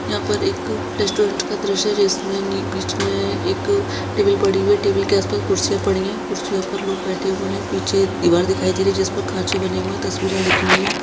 यहाँ पे एक रेस्टोरेंट का दृश्य है जिसमे नी बीच में एक टेबल पड़ी हुई है टेबल के आसपास कुर्सियां पड़ी हैकुर्सियों पर लोग बैठे हुए है पीछे दीवार दिखाई दे रही है जिसपे खाचे बने हुए है तस्वीरें लगी हुई है।